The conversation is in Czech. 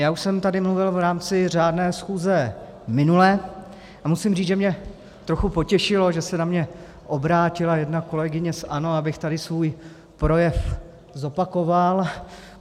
Já už jsem tady mluvil v rámci řádné schůzi minule a musím říct, že mě trochu potěšilo, že se na mě obrátila jedna kolegyně z ANO, abych tady svůj projev zopakoval.